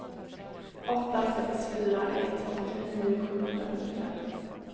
åtta sex fyra ett åttionio sjuhundrafemtiofem